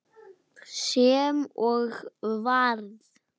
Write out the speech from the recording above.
Og þetta búa börnin við.